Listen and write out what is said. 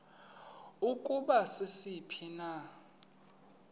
ukuba sisiphi na